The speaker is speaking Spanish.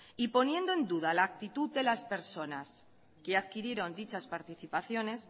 y poniendo en duda la actitud de las personas que adquirieron dichas participaciones